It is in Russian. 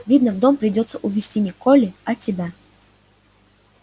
видно в дом придётся увести не колли а тебя